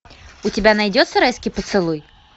у тебя найдется райский поцелуй